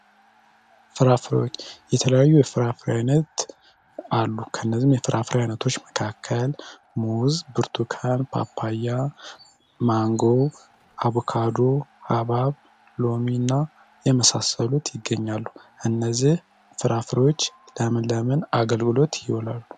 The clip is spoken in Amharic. ፍራፍሬዎች የተለያዩ የፍራፍሬ አይነት አሉ። ከነዚህም የፍራፍሬ ዓይነቶች መካከል ሙዝ፣ ብርቱካን፣ ፓፓያ፣ ማንጎ፣ አቮካዶ፣ ሃብሃብ ፣ ሎሚ እና የመሳሰሉት ይገኛሉ። እነዚህ ፍራፍሬዎች ለምን ለምን አገልግሎት ይውላሉ?